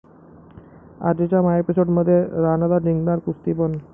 आजच्या महाएपिसोडमध्ये राणादा जिंकणार कुस्ती पण...